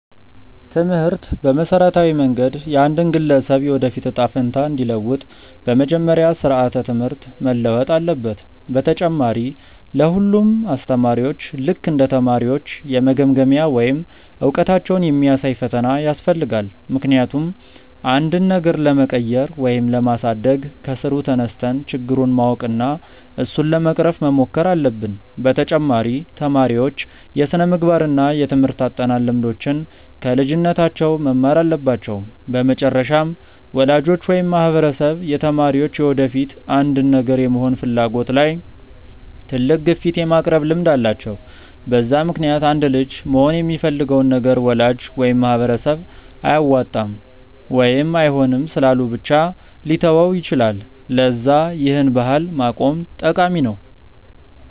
ትምህርት በመሠረታዊ መንገድ የአንድን ግለሰብ የወደፊት እጣ ፈንታ እንዲለውጥ፤ በመጀመሪያ ስራዓተ ትምህርት መለወጥ አለበት፣ በተጨማሪ ለ ሁሉም አስተማሪዎች ልክ እንደ ተማሪዎች የመገምገሚያ ወይም እውቀታቸውን የሚያሳይ ፈተና ያስፈልጋል፤ ምክንያቱም አንድን ነገር ለመቀየር ወይም ለማሳደግ ከስሩ ተነስተን ችግሩን ማወቅ እና እሱን ለመቅረፍ መሞከር አለብን፤ በተጨማሪ ተማሪዎች የስነምግባር እና የትምርህት አጠናን ልምዶችን ከልጅነታቸው መማር አለባቸው፤ በመጨረሻም ወላጆች ወይም ማህበረሰብ የተማሪዎች የወደፊት አንድን ነገር የመሆን ፍላጎት ላይ ትልቅ ግፊት የማቅረብ ልምድ አላቸው፤ በዛ ምክንያትም አንድ ልጅ መሆን የሚፈልገውን ነገር ወላጅ ወይም ማህበረሰብ አያዋጣም ወይም አይሆንም ስላሉ ብቻ ሊተወው ይችላል፤ ለዛ ይህን ባህል ማቆም ጠቃሚ ነው።